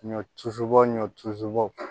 Ɲɔ tusu bɔ ɲɔ tusubɔ